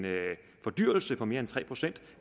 fordyrelse på mere end tre procent